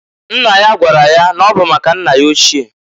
Nna ya gwara ya na ọ bụ maka nna ya ochie.